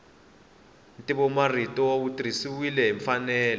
ntivomarito wu tirhisiwile hi mfanelo